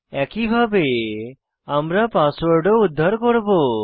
একইভাবে আমরা পাসওয়ার্ড ও উদ্ধার করব